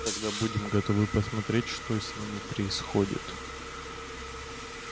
когда будем готовы посмотреть что с ними происходит